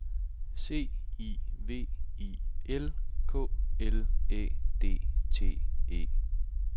C I V I L K L Æ D T E